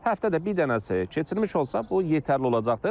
Həftədə bir dənəsi keçilmiş olsa, bu yetərli olacaqdır.